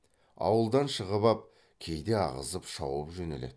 ауылдан шығып ап кейде ағызып шауып жөнеледі